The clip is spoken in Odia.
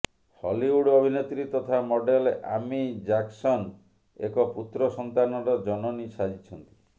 ହଲିଉଡ୍ ଅଭିନେତ୍ରୀ ତଥା ମଡେଲ୍ ଆମି ଜାକ୍ସନ ଏକ ପୁତ୍ର ସନ୍ତାନର ଜନନୀ ସାଜିଛନ୍ତି